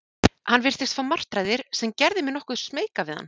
Hann virtist fá martraðir, sem gerði mig nokkuð smeyka við hann.